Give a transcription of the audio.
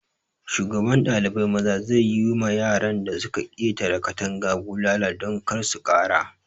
Shugaban ɗalibai maza zai yi ma yaran da su ka ƙetara katanga bulala don kar su ƙara.